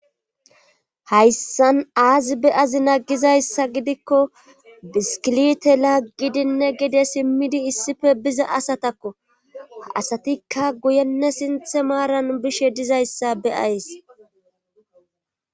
Hayssan aazi be7azi naggizayssa gidikko biskilite laggidinne gide simmidi issife biza asatakko a asatikka guyenne sinthe maaran bishe dizayssa beyays